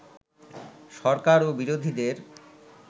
সরকার ও বিরোধীদের